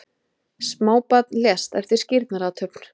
Smábarn lést eftir skírnarathöfn